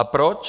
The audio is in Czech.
A proč?